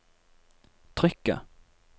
trykket